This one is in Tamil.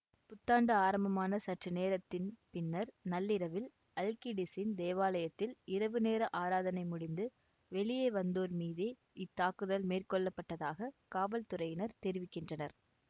புத்தாண்டு ஆரம்பமான சற்று நேரத்தின் பின்னர் நள்ளிரவில் அல்கிடிசீன் தேவாலயத்தில் இரவு நேர ஆராதனை முடிந்து வெளியே வந்தோர் மீதே இத்தாக்குதல் மேற்கொள்ளப்பட்டதாகக் காவல்துறையினர் தெரிவிக்கின்றனர்